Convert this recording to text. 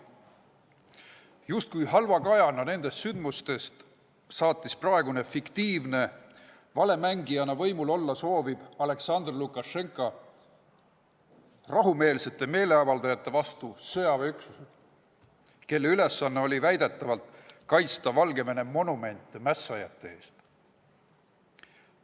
Justkui nende sündmuste halva kajana saatis praegune fiktiivne, valemängijana võimul olla sooviv Alaksandr Lukašenka rahumeelsete meeleavaldajate vastu sõjaväeüksused, kelle ülesanne oli väidetavalt kaitsta Valgevene monumente mässajate eest.